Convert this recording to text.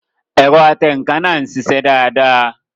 Ẹ̀rọ atẹǹkan náà ń sisẹ́ dáadáa